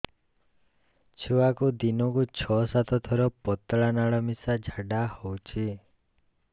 ଛୁଆକୁ ଦିନକୁ ଛଅ ସାତ ଥର ପତଳା ନାଳ ମିଶା ଝାଡ଼ା ହଉଚି